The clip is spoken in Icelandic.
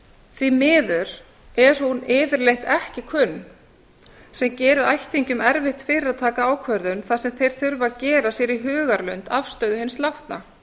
því miður er hún yfirleitt ekki kunn sem gerir ættingjum erfitt fyrir að taka ákvörðun þar sem þeir þurfa að gera sér í hugarlund afstöðu hins látna